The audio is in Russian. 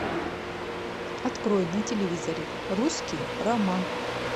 открой на телевизоре русский роман